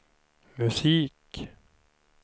musik